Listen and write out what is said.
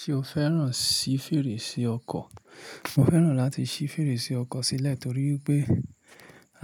Ṣé o fẹ́ràn sí fèrèsé ọkọ̀? Mo fẹ́ràn láti ṣí fèrèsé ọkọ̀ sílẹ̀ torí pé